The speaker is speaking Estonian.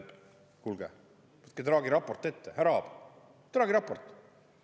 Kuulge, võtke Draghi raport ette, härra Aab!